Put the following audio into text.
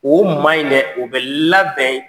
O maa in dɛ o bɛ labɛn